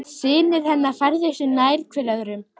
Synir hennar færðu sig nær hver öðrum.